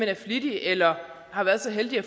er flittig eller er så heldig at